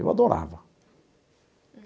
Eu adorava.